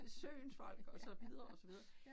Søens folk og så videre og så videre